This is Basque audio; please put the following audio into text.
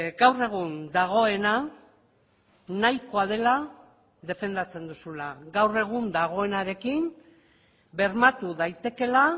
gaur egun dagoena nahikoa dela defendatzen duzula gaur egun dagoenarekin bermatu daitekeela